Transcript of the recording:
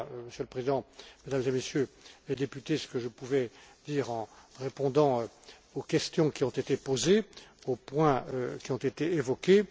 Voilà, Monsieur le Président, Mesdames et Messieurs les députés, ce que je pouvais dire en répondant aux questions qui ont été posées, sur les points qui ont été évoqués.